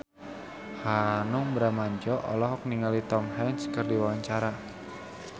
Hanung Bramantyo olohok ningali Tom Hanks keur diwawancara